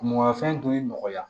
Mɔgɔnfɛn dun y'i nɔgɔya